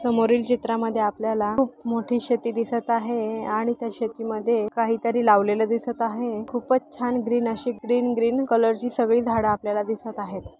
समोरील चित्रामध्ये आपल्याला खूप मोठी शेती दिसत आहे आणि त्या शेतीमध्ये काहीतरी लावलेल दिसत आहे खूपच छान ग्रीन अशी ग्रीन ग्रीन कलरची ची सगळी झाड आपल्याला दिसत आहेत.